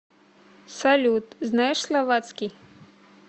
салют знаешь словацкий